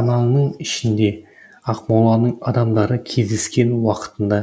ананың ішінде ақмоланың адамдары кездескен уақытында